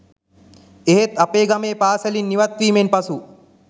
එහෙත් අපේ ගමේ පාසැලින් ඉවත්වීමෙන් පසු